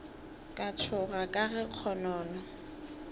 ka tšhoga ka ge kgonono